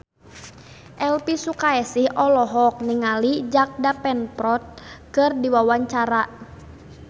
Elvi Sukaesih olohok ningali Jack Davenport keur diwawancara